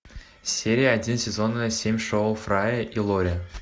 серия один сезона семь шоу фрая и лори